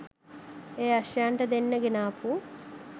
ඒ අශ්වයන්ට දෙන්න ගෙනාපු